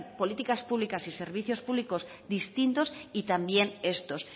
políticas públicas y servicios públicos distintos y también estos